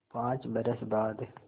पाँच बरस बाद